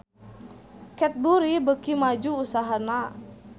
Cadbury beuki maju usahana